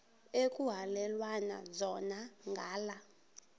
ekuhhalelwana zona ngala